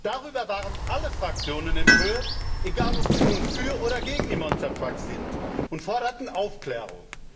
Darüber waren alle Fraktionen empört, egal ob sie nun für oder gegen die Monstertrucks sind, und forderten Aufklärung.